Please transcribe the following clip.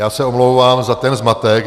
Já se omlouvám za ten zmatek.